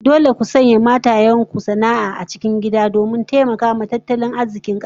Dole zaku sa matan ku su rika sana'o'i a gida domin taimakawa tattalin arzikin kasa